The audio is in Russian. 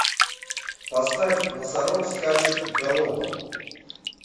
поставь носорог скачет галопом